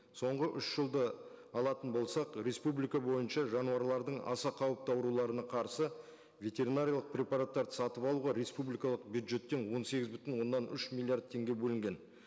соңғы үш жылды алатын болсақ республика бойынша жануарлардың аса қауіпті ауруларына қарсы ветеринариялық препараттарды сатып алуға республикалық бюджеттен он сегіз бүтін оннан үш миллиард теңге бөлінген